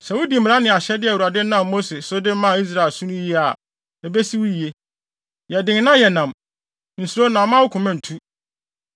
Sɛ wudi mmara ne ahyɛde a Awurade nam Mose so de maa Israel no so yiye a, ebesi wo yiye. Yɛ den na yɛ nnam. Nsuro na mma wo koma ntu.